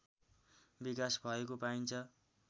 विकास भएको पाइन्छ